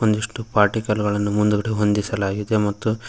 ಒಂದಿಷ್ಟು ಪಾಟಿ ಕಲ್ಲುಗಳನ್ನು ಮುಂದ್ಗಡೆ ಹೊಂದಿಸಲಾಗಿದೆ ಮತ್ತು--